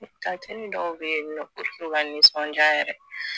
dɔw bɛ yen nɔ u tɛ to ka nisɔndiya yɛrɛ